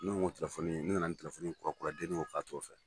Ne ko ko nko telafɔni ne nana ni tilafoni kuruyefoniinikurakura deni o k'a to o fɛ